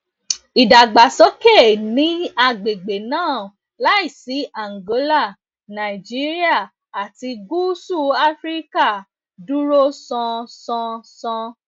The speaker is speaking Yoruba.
ìdàgbàsókè ní agbègbè náà láìsí àǹgólà nàìjíríà àti gúúsù áfíríkà dúró sán san san